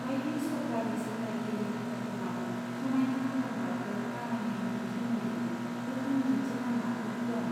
बायदि सरकारि सामलायगिरि हान्जाफोरनाव समायना खालामग्राफोर बानायनायनि सोमोन्दै गोख्रों दिन्थि लामाफोर दं।